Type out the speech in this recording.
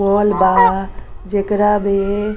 होवल बा जेकरा में --